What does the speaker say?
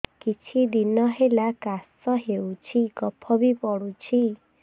କିଛି ଦିନହେଲା କାଶ ହେଉଛି କଫ ବି ପଡୁଛି